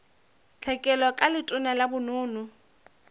tlhekelo ka letona la bonono